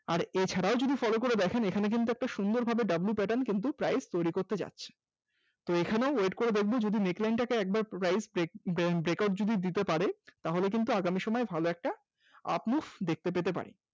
এছাড়াও যদি follow করে দেখেন এখানে কিন্তু একটা সুন্দর ভাবে w pattern কিন্তু price তৈরি করতে যাচ্ছে, এখানে wait করে দেখব যদি neck line টা একবার rise break break out যদি দিতে পারে তাহলে কিন্তু আগামী সময়ে ভালো একটা up move দেখতে পেতে পারি